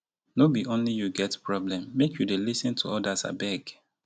no be only you get problem make you dey lis ten to odas abeg.